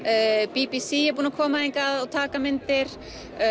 b b c er búið að koma hingað og taka myndir